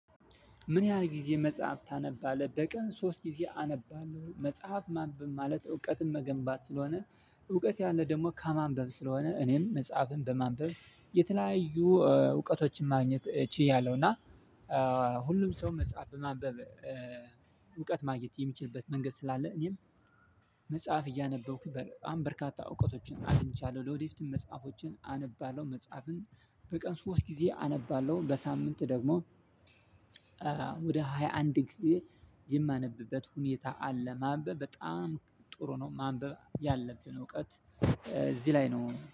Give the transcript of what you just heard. ምን? ያህል ጊዜ መጽሐፍ ታነባለህ በቀን ሶስት ጊዜ አነባለሁ መጽሐፍ ማንብብ ማለት እውቀትን መገንባት ስለሆነ እውቀት ያለ ደግሞ ከማንበብ ስለሆነ እኔም መጽሐፍን በማንበብ የተለያዩ እውቀቶችን ማግኘት ችያለሁ። እና ሁሉም ሰው መጽሐፍ ማንበብ እውቀት ማግኘት የሚችልበት መንገድ ስላለ እኔም መጽሐፍ እያነበብኩኝ በጣም በርካታ እውቀቶችን አግኝቻለሁ። ለወደፊትም መጽሐፎችን አነባለሁ። መጽሐፍን በቀን ሶስት ጊዜ አነባለሁ በሳምንት ደግሞ ወደ ሃያ አንድ ጊዜ የማነብበት ሁኔታ አለ። ማንበብ በጣም ጥሩ ነው። ማንበብ ያለብን እውቀት እዚህ ላይ ነው